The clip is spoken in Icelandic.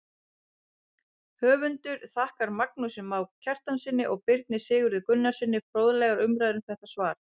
Höfundur þakkar Magnúsi Má Kristjánssyni og Birni Sigurði Gunnarssyni fróðlegar umræður um þetta svar.